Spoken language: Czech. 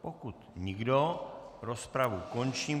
Pokud nikdo, rozpravu končím.